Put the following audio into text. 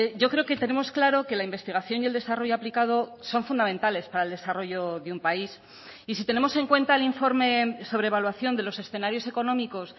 yo creo que tenemos claro que la investigación y el desarrollo aplicado son fundamentales para el desarrollo de un país y si tenemos en cuenta el informe sobre evaluación de los escenarios económicos